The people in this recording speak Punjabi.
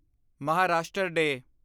ਮਹਾਰਾਸ਼ਟਰ ਡੇਅ